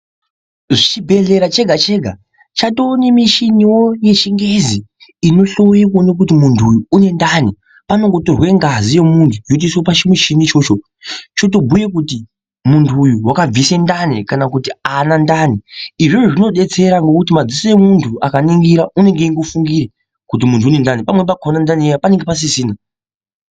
Chibhedhlera chega chega chatowe nemuchini wo yechingezi inohloye kuoneka kuti munthu uyu une ndani panongotorwe ngazi yemunthu yotoiswe pachimuchini ichocho choyobhuye kuti munthu uyu wakabvise ndani kana kuti aana ndani, izvozvo zvinodetsera ngekuti madziso emunthu akaningira anenge eingofungira kuti munhu uyu une ndani pamweni ndani yakhona panenge pasisina